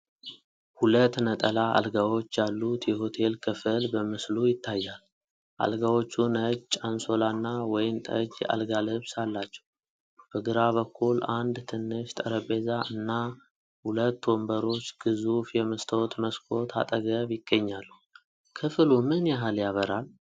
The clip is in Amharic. ሁለት ነጠላ አልጋዎች ያሉት የሆቴል ክፍል በምስሉ ይታያል። አልጋዎቹ ነጭ አንሶላና ወይን ጠጅ የአልጋ ልብስ አላቸው። በግራ በኩል አንድ ትንሽ ጠረጴዛ እና ሁለት ወንበሮች ግዙፍ የመስታወት መስኮት አጠገብ ይገኛሉ። ክፍሉ ምን ያህል ያበራል?